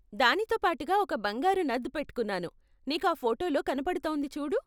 దానితో పాటుగా ఒక బంగారు నథ్ పెట్టుకున్నాను, నీకు ఆ ఫోటోలో కనపడుతోంది చూడు.